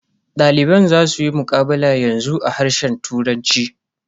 Daliban za suyi muqabala yanzu a harshen turanci.